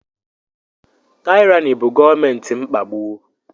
Taịrani bụ gọọmenti mkpagbu.